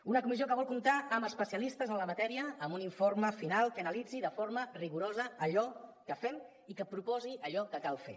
una comissió que vol comptar amb especialistes en la matèria amb un informe final que analitzi de forma rigorosa allò que fem i que proposi allò que cal fer